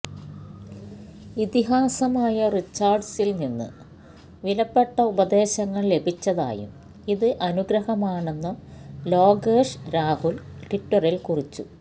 ഇതിഹാസമായ റിച്ചാര്ഡ്സില്നിന്ന് വിലപ്പെട്ട ഉപദേശങ്ങള് ലഭിച്ചതായും ഇത് അനുഗ്രഹമാണെന്നും ലോകേഷ് രാഹുല് ട്വിറ്ററില് കുറിച്ചു